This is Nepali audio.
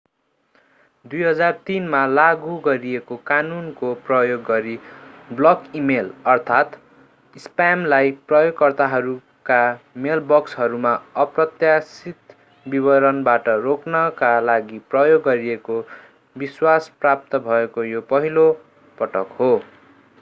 2003 मा लागू गरिएको कानूनको प्रयोग गरी बल्क इमेल अर्थात् स्प्यामलाई प्रयोगकर्ताहरूका मेलबक्सहरूमा अप्रत्याशित वितरणबाट रोक्नका लागि प्रयोग गरिएको विश्वास प्राप्त भएको यो पहिलो पटक हो